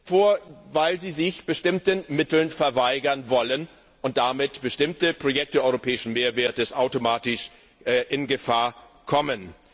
vor, weil sie sich bestimmten Mitteln verweigern wollen, und damit bestimmte Projekte europäischen Mehrwerts automatisch in Gefahr kommen.